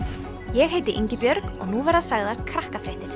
ég heiti Ingibjörg og nú verða sagðar